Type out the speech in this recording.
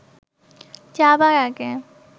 যাবার আগে